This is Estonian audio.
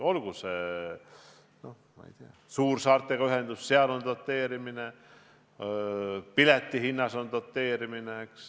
Olgu see, ma ei tea, ühendus suursaartega, seal on doteerimine, piletihinna osas on doteerimine.